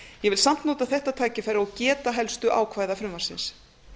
ég vil samt nota þetta tækifæri og geta helstu ákvæða frumvarpsins